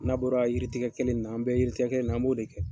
N'a bɔra yiritigɛkɛ kelen in na an bɛ yiritigɛkɛ na an b'o de kɛ.